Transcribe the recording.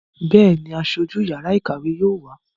Bẹ́ẹ̀ni, Aṣojú yàrá ìkàwé yóò wá.